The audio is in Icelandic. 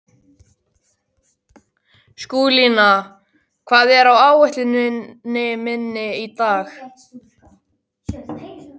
Skúlína, hvað er á áætluninni minni í dag?